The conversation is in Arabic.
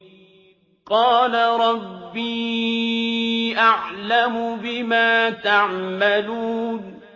قَالَ رَبِّي أَعْلَمُ بِمَا تَعْمَلُونَ